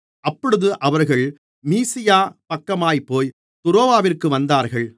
அப்பொழுது அவர்கள் மீசியா பக்கமாகப்போய் துரோவாவிற்கு வந்தார்கள்